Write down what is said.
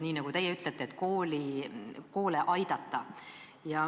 Nii nagu teie ütlete: selleks, et koole aidata.